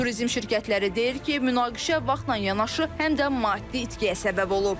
Turizm şirkətləri deyir ki, münaqişə vaxtla yanaşı, həm də maddi itkiyə səbəb olub.